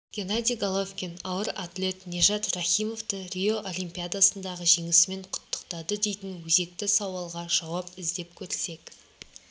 геннадий головкин ауыр атлет нижат рахимовты рио олимпиадасындағы жеңісімен құттықтады дейтін өзекті сауалға жауап іздеп көрсек